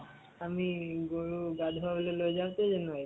আমি গৰু গা ধুৱাবলৈ লৈ যাওঁ তে